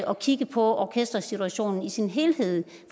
og kigge på orkestersituationen i sin helhed